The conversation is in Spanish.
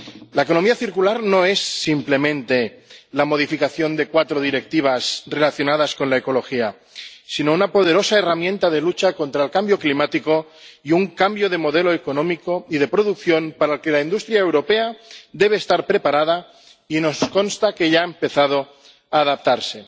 La economía circular no es simplemente la modificación de cuatro directivas relacionadas con la ecología, sino una poderosa herramienta de lucha contra el cambio climático y un cambio de modelo económico y de producción, para el que la industria europea debe estar preparada, y nos consta que ya ha empezado a adaptarse.